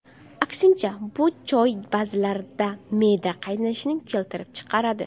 Aksincha, bu choy ba’zilarda me’da qaynashini keltirib chiqaradi.